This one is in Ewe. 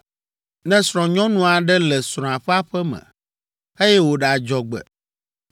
“Ne srɔ̃nyɔnu aɖe le srɔ̃a ƒe aƒe me, eye wòɖe adzɔgbe,